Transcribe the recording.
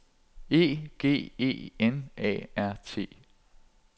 E G E N A R T